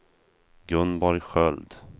Gunborg Sköld